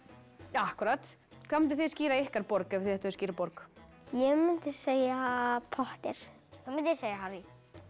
akkúrat hvað munduð þið skíra ykkar borg ef þið ættuð að skíra borg ég mundi segja Potter ég mundi segja Harry